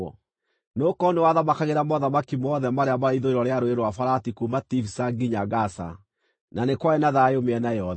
Nĩgũkorwo nĩwe wathamakagĩra mothamaki mothe marĩa maarĩ ithũĩro rĩa Rũũĩ rwa Farati kuuma Tifisa nginya Gaza, na nĩ kwarĩ na thayũ mĩena yothe.